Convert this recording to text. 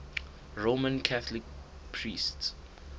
roman catholic priests